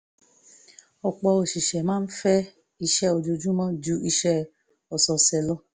ọ̀pọ̀ òṣìṣẹ́ máa ń fẹ́ iṣẹ́ ojoojúmọ́ ju iṣẹ́ ọ̀sọ̀ọ̀sẹ̀ lọ